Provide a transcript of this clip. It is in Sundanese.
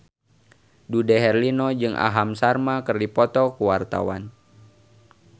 Dude Herlino jeung Aham Sharma keur dipoto ku wartawan